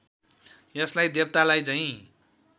यसलाई देवतालाई झैं